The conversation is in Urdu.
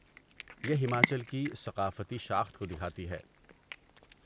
یہ ہماچل کی ثقافتی شاخت کو دکھاتی ہے۔